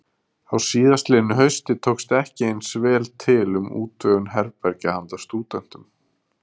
Á síðastliðnu hausti tókst ekki eins vel til um útvegun herbergja handa stúdentum.